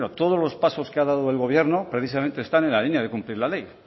todos los pasos que ha dado el gobierno precisamente están en la línea de cumplir la ley